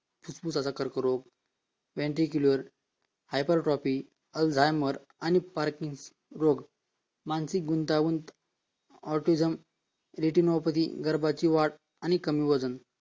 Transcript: फुफुसाचा कर्करोग Ventricle Hypertrophy alzheimer and parking रोग मानसिक गुंतागुंती Otizum Vetinopty गर्भाची वाढ आणि कमी वजन